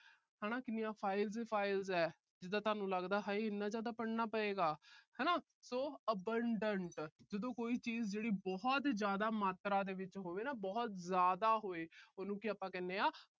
ਹਨਾ ਕਿੰਨੀਆਂ files ਈ files ਆ। ਜਿਦਾਂ ਤੁਹਾਨੂੰ ਲੱਗਦਾ ਹਾਏ ਇੰਨਾ ਜਿਆਦਾ ਪੜ੍ਹਨਾ ਪਏਗਾ ਹਨਾ। so abandoned ਜਦੋਂ ਕੋਈ ਚੀਜ ਜਿਹੜੀ ਬਹੁਤ ਜਿਆਦਾ ਮਾਤਰਾ ਵਿਚ ਹੋਵੇ ਨਾ, ਬਹੁਤ ਜਿਆਦਾ ਹੋਵੇ। ਉਹਨੂੰ ਕੀ ਆਪਾ ਕਹਿੰਦੇ ਆ